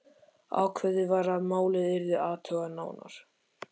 Ákveðið var að málið yrði athugað nánar.